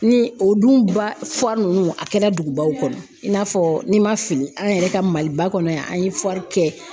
Ni o dun ba nunnu a kɛra dugubaw kɔnɔ i n'a fɔ n'i ma fili an yɛrɛ ka MALIBA kɔnɔ yan an ye kɛ.